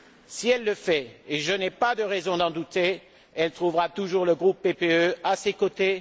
Si elle le fait et je n'ai pas de raison d'en douter elle trouvera toujours le groupe PPE à ses côtés.